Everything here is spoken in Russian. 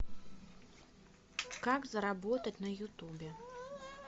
как заработать на ютубе